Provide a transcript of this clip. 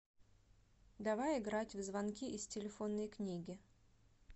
давай играть в звонки из телефонной книги